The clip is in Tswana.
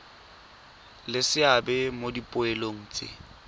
le seabe mo dipoelong tse